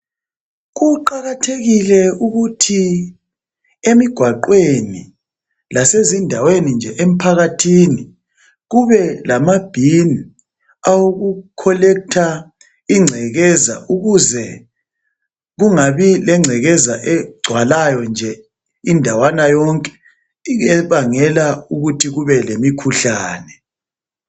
Kuqakathekile ukuthi emigwaqweni lasezindaweni nje emphakathini, kube lamabhini, awoku collector ingcekeza ukuze kungabi lengcekeza, egcwalayo nje indawana yonke, ebangela ukuthi kube lemikhuhlane.